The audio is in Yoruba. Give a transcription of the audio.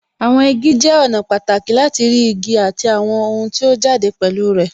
Àwọn igi jẹ́ ọ̀nà pàtàkì láti rí igi àti àwọn ohun tí ó jáde pẹ̀lú ẹ̀